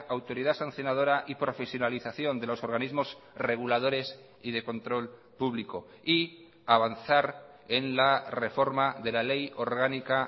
autoridad sancionadora y profesionalización de los organismos reguladores y de control público y avanzar en la reforma de la ley orgánica